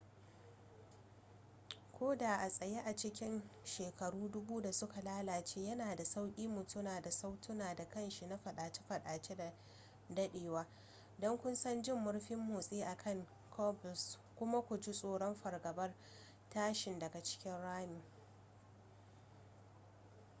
ko da a tsaye a cikin shekaru dubu da suka lalace yana da sauƙi mu tuna da sautuna da ƙanshi na fadace-fadace da dadewa don kusan jin murfin motsi a kan cobbles kuma ku ji tsoron fargabar tashin daga cikin ramin